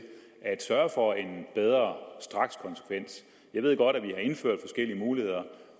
at sørge for en bedre strakskonsekvens jeg ved godt at vi har indført forskellige muligheder